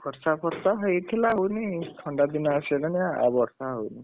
ବର୍ଷା ଫର୍ଷା ହେଇଥିଲା ହଉନି ଥଣ୍ଡା ଦିନ ଆସିଗଲାଣି ଆଉ ବର୍ଷା ହଉନି,